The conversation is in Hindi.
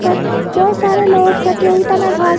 पर बहोत सारे लोग प्रतियोगिता में भाग--